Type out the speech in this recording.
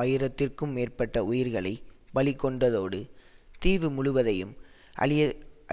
ஆயிரத்திற்கும் மேற்பட்ட உயிர்களை பலிகொண்டதோடு தீவு முழுவதும் அழி